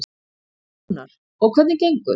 Rúnar: Og hvernig gengur?